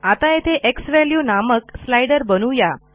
आता येथे झ्वॅल्यू नामक स्लाइडर बनवू या